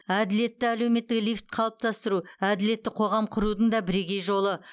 әділетті әлеуметтік лифт қалыптастыру әділетті қоғам құрудың да бірегей жолы